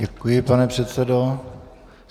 Děkuji, pane předsedo.